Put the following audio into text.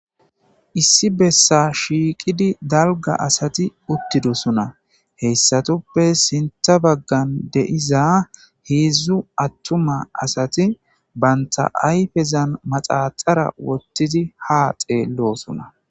Issi besan shiqidi dalga asati uthidosona heysatuppe sinta bagan de'za hedzu atuma asati banta ayfezan maxaxara wotidi ha xelosona.